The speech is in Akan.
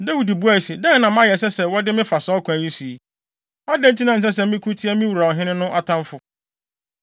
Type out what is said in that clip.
Dawid bisae se, “Dɛn na mayɛ a ɛsɛ sɛ wɔde me fa saa ɔkwan yi so? Adɛn nti na ɛnsɛ sɛ meko tia me wura ɔhene no atamfo?”